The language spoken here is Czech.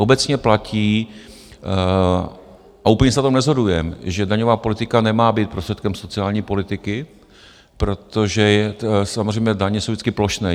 Obecně platí, a úplně se na tom neshodujeme, že daňová politika nemá být prostředkem sociální politiky, protože samozřejmě daně jsou vždycky plošné.